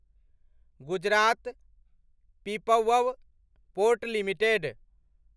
Gujarat Pipavav port limited